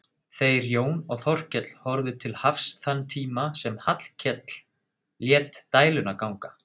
Þeir Jón og Þórkell horfðu til hafs þann tíma sem Hallkell lét dæluna ganga.